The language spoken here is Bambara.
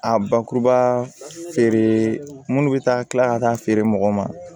A bakuruba feere munnu bɛ taa kila ka taa feere mɔgɔw ma